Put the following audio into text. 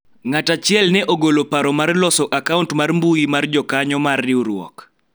ng'at achiel ne ogolo paro mar loso akaunt mar mbui mar jokanyo mar riwruok